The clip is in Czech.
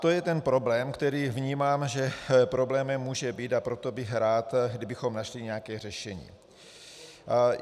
To je ten problém, který vnímám, že problémem může být, a proto bych rád, kdybychom našli nějaké řešení.